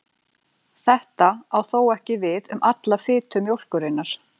Þetta á þó ekki við um alla fitu mjólkurinnar.